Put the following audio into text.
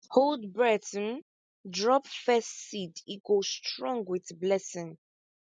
hold breath um drop first seed e go strong with blessing